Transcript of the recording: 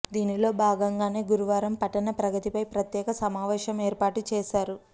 దీనిలో భాగంగానే గురువారం పట్టణ ప్రగతిపై ప్రత్యేక సమావేశం ఏర్పాటు చేశారు